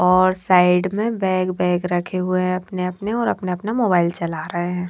और साइड में bag bag रखे हुए हैं अपने अपने और अपने अपने मोबाइल चला रहे हैं।